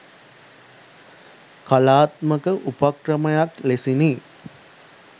කලාත්මක උපක්‍රමයක් ලෙසිනි.